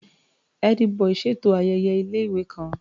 Ẹ́dí-bọì ṣètò ayẹyẹ ilé-ìwé kan.